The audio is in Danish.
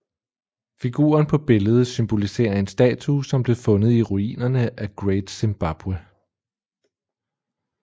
Figuren på billedet symboliserer en statue som blev fundet i ruinerne af Great Zimbabwe